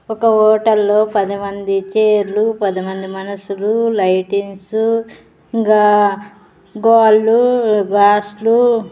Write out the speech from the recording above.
ఒక ఓటల్లో పది మంది చైర్లు పదిమంది మనషులు లైటింగ్సు ఇంగా గోళ్ళు గ్లాస్ లు --